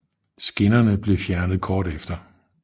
Skinnerne blev fjernet kort tid efter